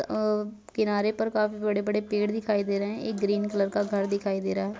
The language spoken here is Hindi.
अ किनारे पर काफी बड़े-बड़े पेड़ दिखाई दे रहे हैं एक ग्रीन कलर का घर दिखाई दे रहा है।